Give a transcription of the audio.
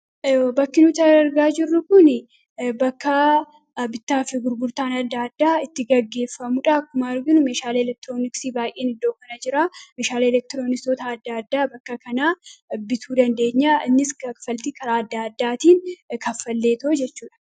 Bakki nuti argaa jirru kun bakka bittaaf gurgurtaan adda addaa itti gaggeeffamudha. Akkuma arginu meeshaalee elektirooniksi baayyeen iddoo kana jira. Meeshaalee elektirooniksoota adda addaa bakka kanaa bituu dandeenya. Innis kanfaltii karaa adda addaatiin kaffaleetoo jechuudha.